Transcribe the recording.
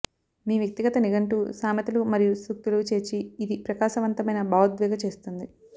మీ వ్యక్తిగత నిఘంటువు సామెతలు మరియు సూక్తులు చేర్చి ఇది ప్రకాశవంతమైన భావోద్వేగ చేస్తుంది